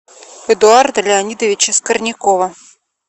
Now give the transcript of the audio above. эдуарда леонидовича скорнякова